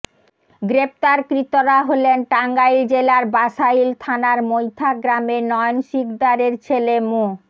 গ্রেপ্তারকৃতরা হলেন টাঙ্গাইল জেলার বাশাইল থানার মৈথা গ্রামের নয়ন সিকদারের ছেলে মো